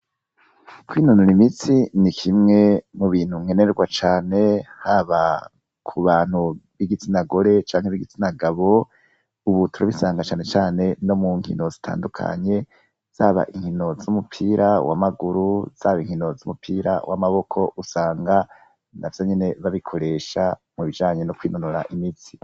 Kwinonora imitsi ni kimwe mu bintu nkenerwa cane haba ku bantu b'igitsina gore canke b'igitsina gabo. Ubu turabisanga cane cane no mu nkino zitandukanye, zaba inkino z'umupira w'amaguru, zaba inkino z'umupira w'amaboko, usanga navyo nyene babikoresha mu bijanye no kwinonora imitsi.